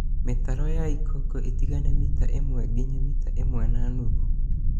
Mĩtaro ya ikongo ĩtigane na mita ĩmwe nginya mita ĩmwe na nuthu